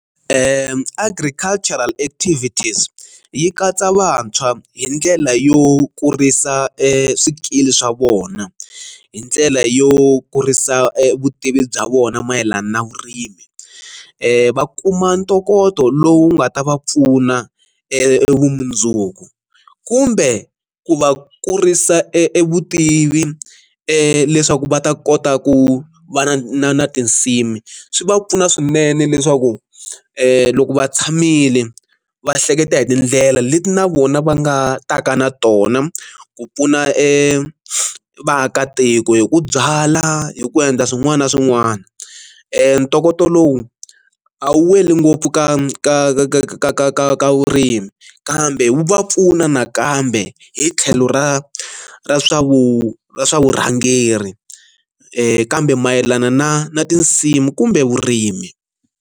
Agricultural activities yi katsa vantshwa hi ndlela yo kurisa e swikili swa vona hi ndlela yo kurisa vutivi bya vona mayelana na vurimi, va kuma ntokoto lowu nga ta va pfuna e vumundzuku kumbe ku va kurisa e vutivi leswaku va ta kota ku va na na na tinsimu swi va pfuna swinene leswaku loko va tshamile va hleketa hi tindlela leti na vona va nga ta ka na tona ku pfuna e vaakatiko hi ku byala hi ku endla swin'wana na swin'wana, ntokoto lowu a wu weli ngopfu ka ka ka ka ka ka ka ka vurimi kambe wu va pfuna nakambe hi tlhelo ra ra swa vu ra swa vurhangeri kambe mayelana na na tinsimu kumbe vurimi.